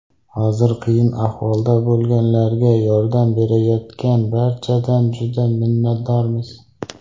Hozir qiyin ahvolda bo‘lganlarga yordam berayotgan barchadan juda minnatdormiz.